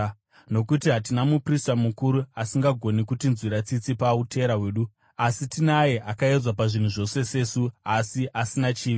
Nokuti hatina muprista mukuru asingagoni kutinzwira tsitsi pautera hwedu, asi tinaye akaedzwa pazvinhu zvose, sesu, asi asina chivi.